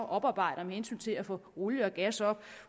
oparbejder med hensyn til at få olie og gas op